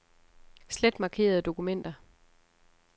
Slet markerede dokumenter.